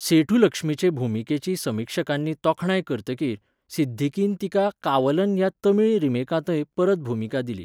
सेठुलक्ष्मीचे भुमिकेची समिक्षकांनी तोखणाय करतकीर, सिद्दीकीन तिका 'कावलन' ह्या तमिळ रिमेकांतय, परत भुमिका दिली.